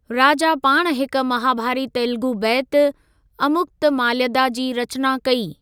राजा पाण हिक महाभारी तेलुगु बैत, अमुक्तमाल्यदा जी रचना कई।